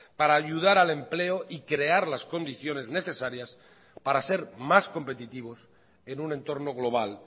para ayudar al empleo y crear las condiciones necesarias para ser más competitivos en un entorno global